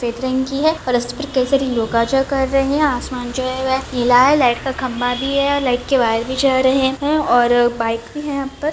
आसमान जो है वो नीला हे लाइट का खम्बा भी है और लाइट के वायर भी जा रहे है और बाइक भी है यहाँ पर।